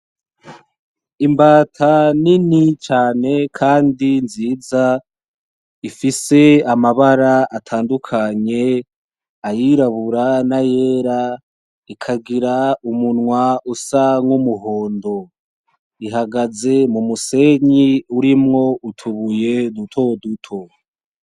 Imbata nini cane kandi nziza ifise amabara atandukanye ayirabura, nayera ikagira umunwa usa nk'umuhondo, ihagaze kumusenyi urimwo utubuye dutoduto.